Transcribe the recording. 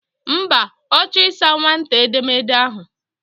Mba, O chor isa nwata édeméèdẹ ahu.